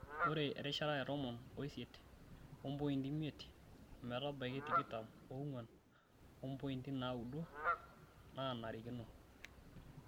Ore erishata e tomon oisiet ompointi imiet ometabaiki tikitam oong'wan ompointi naaudo nanarikino.